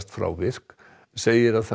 frá virk segir að það